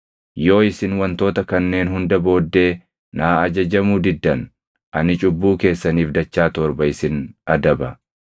“ ‘Yoo isin wantoota kanneen hunda booddee naa ajajamuu diddan ani cubbuu keessaniif dachaa torba isin adaba.